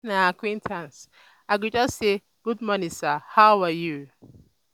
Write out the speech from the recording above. if na acquaintance i go say "gud morning sir how are you?"